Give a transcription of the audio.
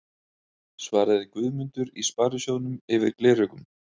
svaraði Guðmundur í Sparisjóðnum yfir gleraugun.